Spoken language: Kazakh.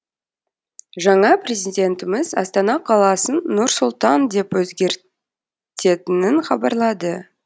жаңа президентіміз астана қаласын нұр сұлтан деп өзгертетінін хабарлады